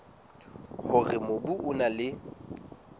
hore mobu o na le